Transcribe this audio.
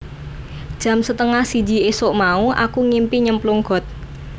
Jam setengah siji isuk mau aku ngimpi nyemplung got